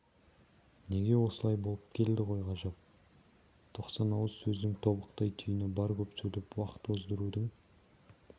неге осылай болып келді ғой ғажап тоқсан ауыз сөздің тобықтай түйіні бар көп сөйлеп уақыт оздырудың